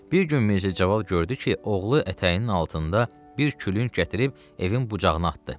Bir gün Mirzəcavad gördü ki, oğlu ətəyinin altında bir külüng gətirib evin bucağına atdı.